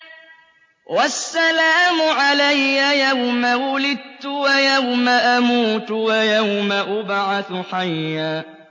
وَالسَّلَامُ عَلَيَّ يَوْمَ وُلِدتُّ وَيَوْمَ أَمُوتُ وَيَوْمَ أُبْعَثُ حَيًّا